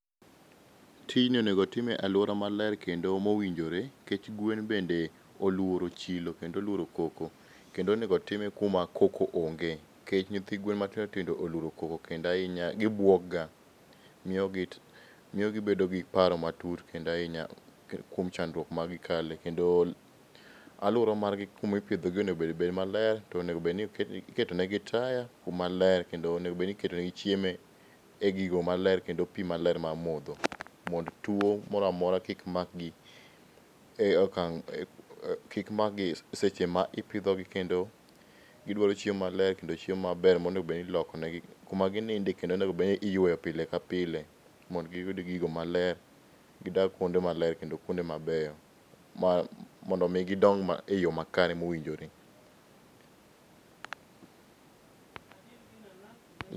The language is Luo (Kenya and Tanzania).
Tijni onego time e alwora maler kendo mowinjore, nkech gwen bende oluoro chilo kendo oluoro koko. Kendo onego time kuma koko onge, nkech nyithi gwen matindo tindo oluoro koko kendo ahinya gibuok ga miyo gi miyo gibedo gi paro matut kendo ahinya kuom chandruok ma gikale. Kendo alwora margi kuma ipidho gi onego obed bed maler to onego bed ni iketo negi taya kuma ler, kendo onego bed ni iketo ne gi chiemo e gigo maler kendo pii maler mar modho mondo tuo mora mora kik makgi e okang' kik makgi seche ma ipidho gi ,kendo gidwaro chiemo maler kendo chiemo maber monego bedni iloko negi kuma gininde kendo onego bed ni iyweyo pile ka pile, mondo giyud gigo maler, gidag kuonde maler kendo kuonde mabeyo, mondo mii gidong e yo makare mowinjore.